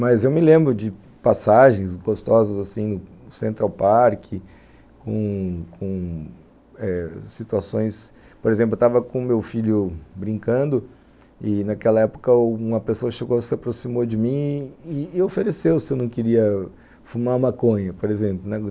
Mas eu me lembro de passagens gostosas assim no Central Park, com com situações... Por exemplo, eu estava com o meu filho brincando e, naquela época, uma pessoa se aproximou de mim e e ofereceu se eu não queria fumar maconha, por exemplo.